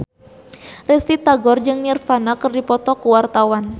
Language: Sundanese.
Risty Tagor jeung Nirvana keur dipoto ku wartawan